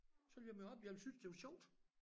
Så ville jeg møde op jeg ville synes det var sjovt